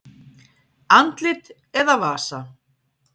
Andlit eða vasa?